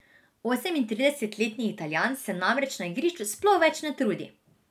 Osemintridesetletni Italijan se namreč na igrišču sploh več ne trudi.